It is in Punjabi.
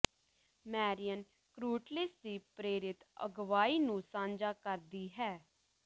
ਮੈਰੀਅਨ ਕ੍ਰੂਟਲੀਸ ਦੀ ਪ੍ਰੇਰਿਤ ਅਗਵਾਈ ਨੂੰ ਸਾਂਝਾ ਕਰਦੀ ਹੈ